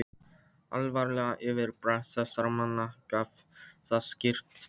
Alvarlegt yfirbragð þessara manna gaf það skýrt til kynna.